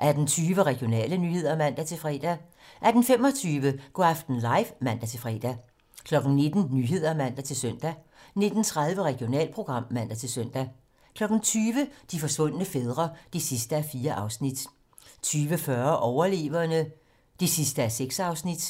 18:20: Regionale nyheder (man-fre) 18:25: Go' aften live (man-fre) 19:00: 19 Nyhederne (man-søn) 19:30: Regionalprogram (man-søn) 20:00: De forsvundne fædre (4:4) 20:40: Overleverne (6:6)